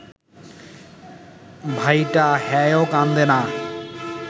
ভাইটা, হ্যায়ও কান্দে না